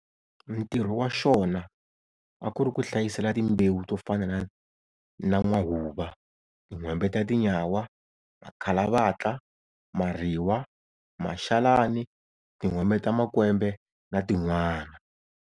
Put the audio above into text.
Ntirho wa xona a ku ri ku hlayisela timbewu to fana na n'wahuva, tinwhembe ta tinyawa, makalavatla, mariwa, maxalani, tinwhembe ta makwembe na tin'wana.